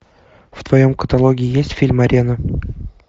в твоем каталоге есть фильм арена